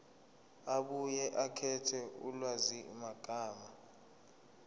abuye akhethe ulwazimagama